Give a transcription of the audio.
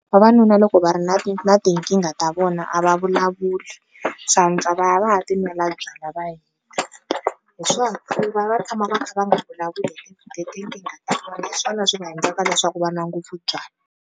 Vavanuna loko va ri na na tinkingha ta vona a va vulavuli, swa antswa va ya va ya tinwela byalwa va hi swona ku va va tshama va kha va nga vulavuli hi swona swi nga endlaka leswaku va nwa ngopfu byalwa.